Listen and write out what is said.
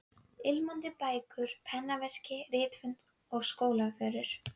Fundarstjóri lætur kjósa fundarritara sem heldur fundagerðarbók undir stjórn fundarstjóra.